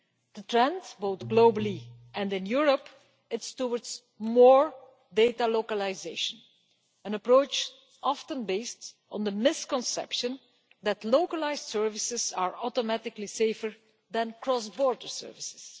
The trend, both globally and in Europe, is towards more data localisation, an approach often based on the misconception that localised services are automatically safer than cross-border services.